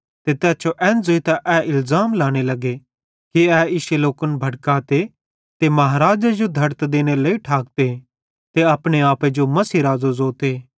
ते तैस जो एन ज़ोइतां ए इलज़ाम लांने लगे कि ए इश्शे लोकन भड़काते ते महाराज़े जो धड़त देनेरे लेइ ठाकते ते अपने आपे जो मसीह राज़ो ज़ोते